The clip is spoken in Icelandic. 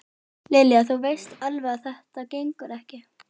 Lilja, þú veist alveg að þetta gengur ekki